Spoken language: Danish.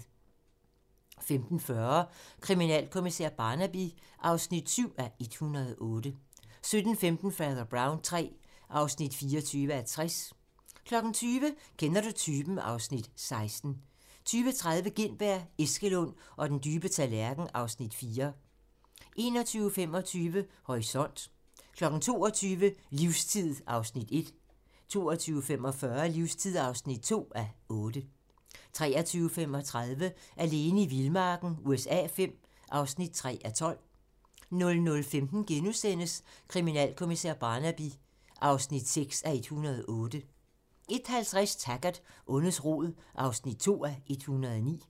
15:40: Kriminalkommissær Barnaby (7:108) 17:15: Fader Brown III (24:60) 20:00: Kender du typen? (Afs. 16) 20:30: Gintberg, Eskelund og den dybe tallerken (Afs. 4) 21:25: Horisont (tir) 22:00: Livstid (1:8) 22:45: Livstid (2:8) 23:35: Alene i vildmarken USA V (3:12) 00:15: Kriminalkommissær Barnaby (6:108)* 01:50: Taggart: Ondets rod (2:109)